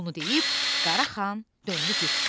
Bunu deyib Qaraxan döndü getsin.